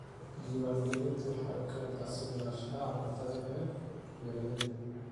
Diiwaangelintu waxay keentaa sugnaanshaha cuntada ee beeralayda.